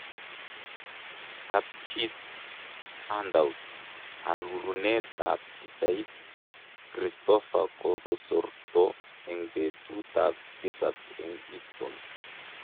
Kapchit handout ,arurunet ap pichait, Christopher kokosorto en petut ap tisap en histon